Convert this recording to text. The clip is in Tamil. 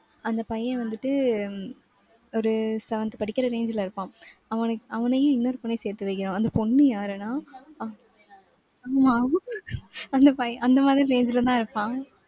அந்த பையன் வந்துட்டு, ஒரு seventh படிக்கிற range ல இருப்பான். அவனை~ அவனையும் இன்னொரு பொண்ணையும் சேர்த்து வைக்கணும். அந்த பொண்ணு யாருனா? அஹ் ஆமா அந்த பைய~ அந்த மாதிரி range லதான் இருப்பான்.